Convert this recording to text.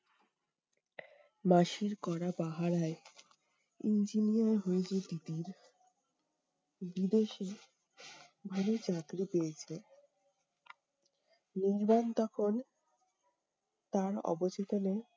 মাসির কড়া পাহাড়ায় engineer হয়েছে তিতির। বিদেশে ভালো চাকরি পেয়েছে। নির্বাণ তখন তার অবচেতনে